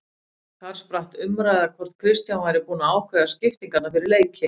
Þar spratt um umræða hvort Kristján væri búinn að ákveða skiptingarnar fyrir leiki.